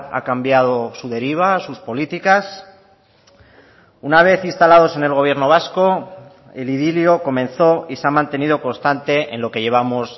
ha cambiado su deriva sus políticas una vez instalados en el gobierno vasco el idilio comenzó y se ha mantenido constante en lo que llevamos